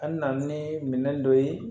An na na ni minɛn dɔ ye